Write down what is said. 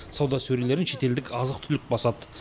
сауда сөрелерін шетелдік азық түлік басады